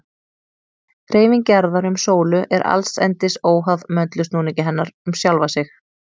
Hreyfing jarðar um sólu er allsendis óháð möndulsnúningi hennar um sjálfa sig.